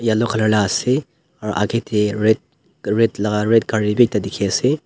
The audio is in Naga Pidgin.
Yellow colour la ase aro aage te red red laga red gaari bi ekta dekhi ase.